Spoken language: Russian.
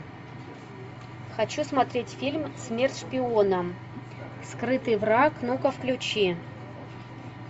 хочу смотреть фильм смерть шпионам скрытый враг ну ка включи